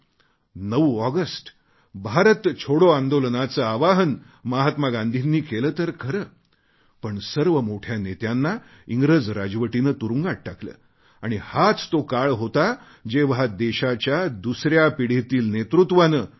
9 August Bharat छोडो आंदोलनाचे आवाहन महात्मा गांधींनी केले तर खरे पण सर्व मोठ्या नेत्यांना इंग्रज राजवटीने तुरुंगात टाकले आणि हाच तो काळ होता जेव्हा देशाच्या दुसऱ्या पिढीतील नेतृत्वाने डॉ